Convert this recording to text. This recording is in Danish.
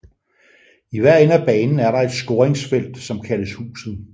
I hver ende af banen er der et scoringsfelt som kaldes huset